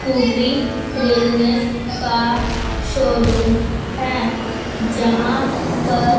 खरीदने का शोरूम है जहां पर--